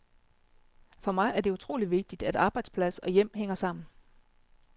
For mig er det utrolig vigtigt, at arbejdsplads og hjem hænger sammen.